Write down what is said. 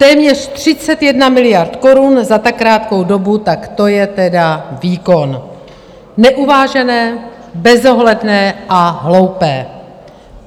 Téměř 31 miliard korun za tak krátkou dobu, tak to je tedy výkon - neuvážené, bezohledné a hloupé.